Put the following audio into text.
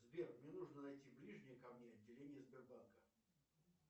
сбер мне нужно найти ближнее ко мне отделение сбербанка